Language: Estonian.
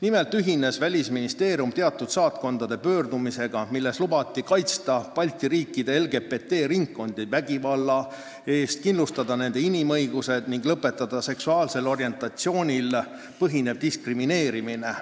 Nimelt ühines Välisministeerium teatud saatkondade pöördumisega, milles lubati kaitsta Balti riikide LGBT-ringkondi vägivalla eest, kindlustada nende inimõigused ning lõpetada seksuaalsel orientatsioonil põhinev diskrimineerimine.